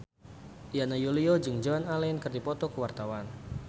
Yana Julio jeung Joan Allen keur dipoto ku wartawan